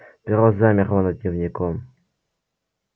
перо замерло над дневником